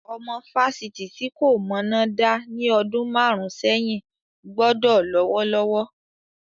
Ọmọ fásitì tí kò mọná dá ní ọdún márùn-ún sẹ́yìn gbọ́dọ̀ lówó lọ́wọ́.